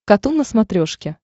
катун на смотрешке